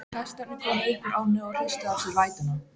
Hestarnir komu upp úr ánni og hristu af sér vætuna.